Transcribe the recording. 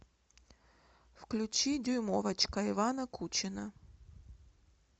включи дюймовочка ивана кучина